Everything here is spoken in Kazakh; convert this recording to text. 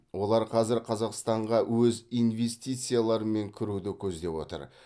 олар қазір қазақстанға өз инвестицияларымен кіруді көздеп отыр